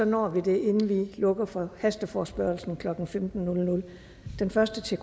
når vi det inden vi lukker for hasteforespørgslen klokken femten den første til